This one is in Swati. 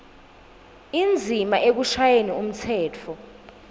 indzima ekushayeni umtsetfo